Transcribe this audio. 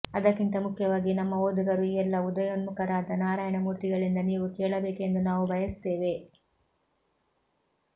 ಅದಕ್ಕಿಂತ ಮುಖ್ಯವಾಗಿ ನಮ್ಮ ಓದುಗರು ಈ ಎಲ್ಲ ಉದಯೋನ್ಮುಖರಾದ ನಾರಾಯಣ ಮೂರ್ತಿಗಳಿಂದ ನೀವು ಕೇಳಬೇಕೆಂದು ನಾವು ಬಯಸುತ್ತೇವೆ